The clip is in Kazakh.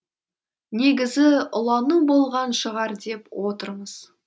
негізі улану болған шығар деп отырмыз